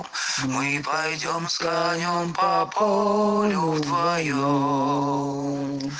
мы пойдём с конём по полю вдвоём